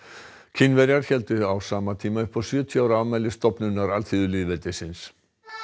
Kínverjar héldu á sama tíma upp á sjötíu ára afmæli stofnunar alþýðulýðveldisins